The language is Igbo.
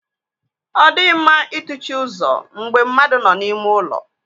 Ọ dịghị mma ị tụchi ụzọ mgbe mmadụ nọ n'ime ụlọ.